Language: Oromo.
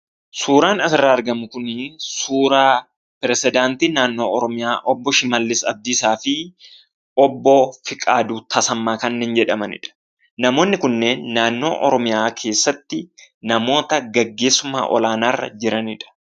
Suuraan asirraa argamu kuni, suuraa pirezidantii mootummaa naannoo Oromiyaa obbo Shimallis Abdiisaafi obbo Fiqaaduu Tasammaa kanneen jedhamanidha. Namoonni kunnen naannoo Oromiyaa keessaati namoota gaggeessummaa olaanaa irra jiranidha.